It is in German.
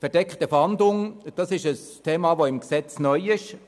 «Verdeckte Fahndung» ist neu, das gab es bisher nicht.